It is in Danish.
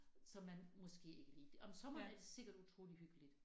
Som man måske ikke lige om sommeren er det sikkert utrolig hyggeligt